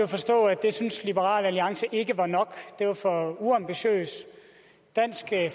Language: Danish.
forstå at det synes liberal alliance ikke var nok det var for uambitiøst dansk